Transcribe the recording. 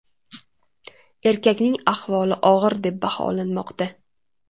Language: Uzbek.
Erkakning ahvoli og‘ir deb baholanmoqda.